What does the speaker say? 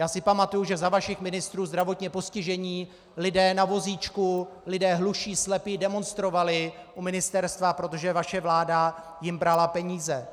Já si pamatuji, že za vašich ministrů zdravotně postižení lidé na vozíčku, lidé hluší, slepí demonstrovali u ministerstva, protože vaše vláda jim brala peníze.